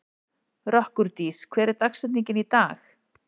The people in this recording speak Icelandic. Rökkurdís, hver er dagsetningin í dag?